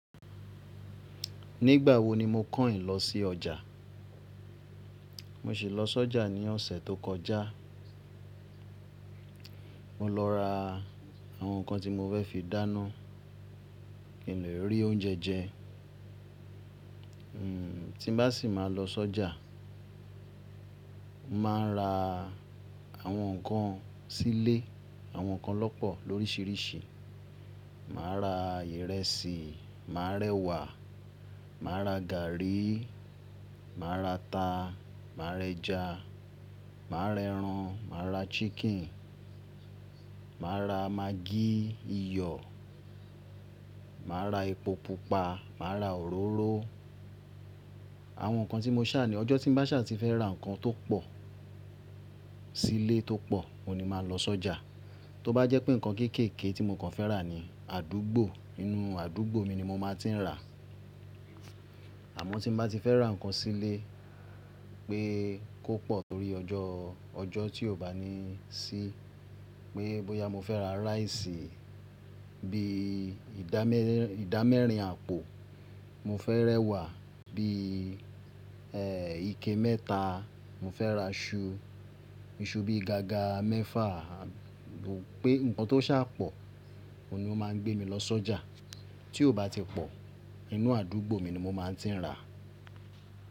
Nígbà wo ni mo kàn yin lọ sí ọjà? Mo ṣì lọ sọ́jà ní ọ̀sẹ̀ tó kọjá. Mo lọ ra àwọn nǹkan tí mo fẹ́ fi dáná, kí n lè rí oúnjẹ jẹ. Hmm, tí bá sì máa lọ sọ́jà, màá ra àwọn nǹkan sílé, àwọn nǹkan lọ́pọ̀ lóríṣiríṣi. Màá ra ìrẹsì, màá rẹwà, màá ra gàárì, màá ra ata, màá rẹja, màá rẹran, màá ra chicken, màá ra magí, iyọ̀, màá ra epo pupa, màá ra òróró. Àwọn nǹkan tí mo ṣà ní ọjọ́ tí bá sì máa fẹ́ ra nǹkan tó pọ̀ sílé tó pọ̀, òní máa lọ sọ́jà. Tó bá jẹ́ pé nǹkan kéékèèké tí mo fẹ́ rà ni, àdúgbò, inú àdúgbò mi ni mo máa ti ń rà. Àmọ́ tí n bá ti fẹ́ ra nǹkan sílé pé kó pọ̀ tórí ọjọ́, ọjọ́ tí ò bá ní sí, pé bóyá mo fẹ́ ra rice bí ìdámẹ́rin àpò, mo fẹ́ rẹwà bí, ẹ́ẹ́, ike mẹ́ta, mo fẹ́ ra iṣu, iṣu bí gaga mẹ́fà, àbí pé nǹkan tó ṣà pọ̀, òní ó máa ń gbé mi lọ sọ́jà. Tí ó bá ti pọ̀, inú àdúgbò mi ni mo máa ti ń rà.